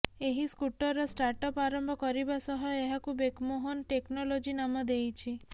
ଏହି ସ୍କୁଟରର ଷ୍ଟାଟଅପ୍ ଆରମ୍ଭ କରିବା ସହ ଏହାକୁ ବେକମୋହନ ଟେକ୍ନୋଲୋଜି ନାମ ଦେଇଛି